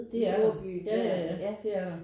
Det er der ja ja ja det er der